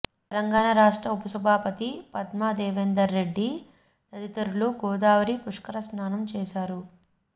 తెలంగాణ రాష్ట్ర ఉప సభాపతి పద్మా దేవేందర్ రెడ్డి తదితరులు గోదావరి పుష్కర స్నానం చేశారు